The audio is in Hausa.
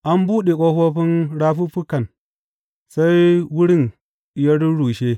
An buɗe ƙofofin rafuffukan sai wurin ya rurrushe.